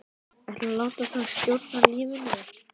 Ætlarðu að láta það stjórna lífinu?